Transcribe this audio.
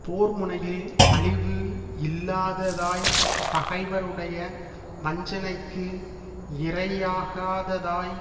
போர் முனையில் அழிவு இல்லாததாய்பகைவருடைய வஞ்சனைக்கு இரையாகாததாய்